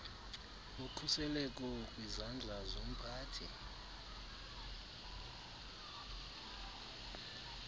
ngokhuseleko kwizandla zomphathi